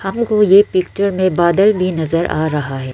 हमको ये पिक्चर में बादल भी नजर आ रहा है।